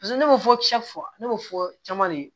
Paseke ne bɛ fɔ cɛ fɔ ne y'o fɔ caman de ye